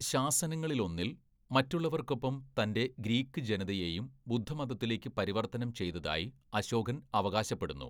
ശാസനങ്ങളിലൊന്നിൽ, മറ്റുള്ളവർക്കൊപ്പം തൻ്റെ ഗ്രീക്ക് ജനതയെയും ബുദ്ധമതത്തിലേക്ക് പരിവർത്തനം ചെയ്തതായി അശോകൻ അവകാശപ്പെടുന്നു.